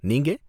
நீங்க?